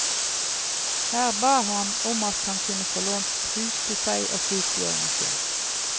Her ba han om han kunne få lånt hus til seg og kvitbjørnen sin.